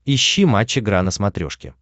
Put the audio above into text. ищи матч игра на смотрешке